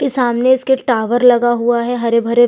की सामने इसके टावर लगा हुआ हैं हरे-भरे--